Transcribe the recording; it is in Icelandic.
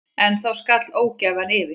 En þá skall ógæfan yfir.